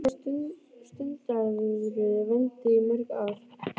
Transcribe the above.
Hvað stundaðirðu vændi í mörg ár?